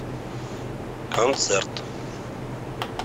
концерт